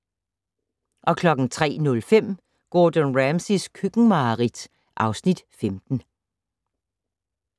03:05: Gordon Ramsays køkkenmareridt (Afs. 15)